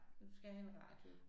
Du skal have en radio